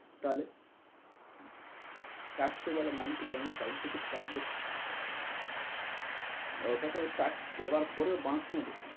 তাহলে? tax কে বলে আমি flight ticket কাটব, ওটাকেও tax দেবার পরেও বাঁশ নেব।